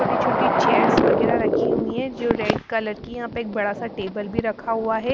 छोटी-छोटी चेयर्स वगैरह रखी हुई है जो रेड कलर की यहां पर एक बड़ा सा टेबल भी रखा हुआ है।